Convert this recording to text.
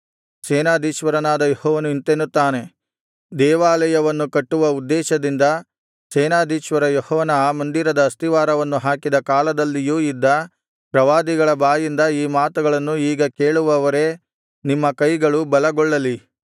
ಸೇನಾಧೀಶ್ವರನಾದ ಯೆಹೋವನು ಇಂತೆನ್ನುತ್ತಾನೆ ದೇವಾಲಯವನ್ನು ಕಟ್ಟುವ ಉದ್ದೇಶದಿಂದ ಸೇನಾಧೀಶ್ವರ ಯೆಹೋವನ ಆ ಮಂದಿರದ ಅಸ್ತಿವಾರವನ್ನು ಹಾಕಿದ ಕಾಲದಲ್ಲಿಯೂ ಇದ್ದ ಪ್ರವಾದಿಗಳ ಬಾಯಿಂದ ಈ ಮಾತುಗಳನ್ನು ಈಗ ಕೇಳುವವರೇ ನಿಮ್ಮ ಕೈಗಳು ಬಲಗೊಳ್ಳಲಿ